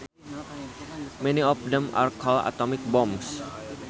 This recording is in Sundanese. Many of them are called atomic bombs